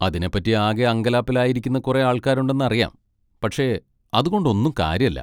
അതിനെപ്പറ്റി ആകെ അങ്കലാപ്പിലായിരിക്കുന്ന കുറേ ആൾക്കാരുണ്ടെന്നറിയാം, പക്ഷെ അതുകൊണ്ടൊന്നും കാര്യല്ല.